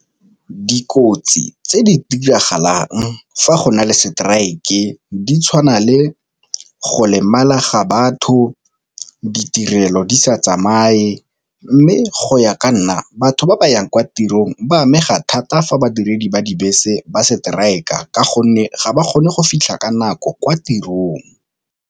Dikotsi tse di diragalang fa go na le strike di tshwana le go lemala ga batho, ditirelo di sa tsamaye. Mme go ya ka nna batho ba ba yang kwa tirong ba amega thata fa badiredi ba dibese ba strike-a ka gonne ga ba kgone go fitlha ka nako kwa tirong.